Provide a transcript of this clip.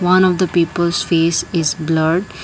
one of the people's face is blurred.